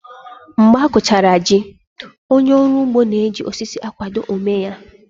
Mgbe a kụchara jí, onye ọrụ ugbo na-eji osisi akwado ómé ya